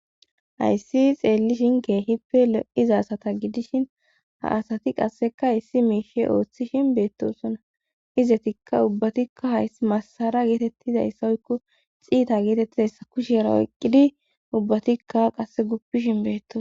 hayssi xeellishinka kehippe lo7iza asata gidishin ha asati qasseka ha asati issi miishe ooththishin beettosona izetikka ubbatikka hay masara geetettizayssawoykko xiita geetettizayssa kushera oyqqidi ubbatikka qasse guppishin beeto